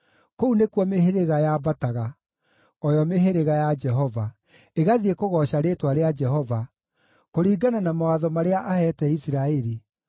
Kũu nĩkuo mĩhĩrĩga yambataga, o yo mĩhĩrĩga ya Jehova, ĩgathiĩ kũgooca rĩĩtwa rĩa Jehova kũringana na mawatho marĩa aheete Isiraeli.